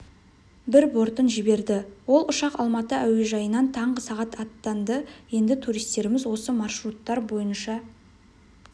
бір бортын жіберді ол ұшақ алматы уежайынан таңғы сағат аттанды енді туристеріміз осы маршруттар бойынша